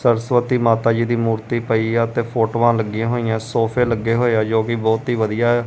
ਸਰਸਵਤੀ ਮਾਤਾ ਜੀ ਦੀ ਮੂਰਤੀ ਪਈ ਆ ਤੇ ਫੋਟੋਆਂ ਲੱਗੀਆਂ ਹੋਈਆਂ ਸੋਫੇ ਲੱਗੇ ਹੋਏ ਆ ਜੋ ਵੀ ਬਹੁਤ ਹੀ ਵਧੀਆ ਆ।